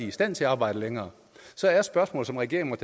i stand til arbejde længere så er spørgsmålet som regeringen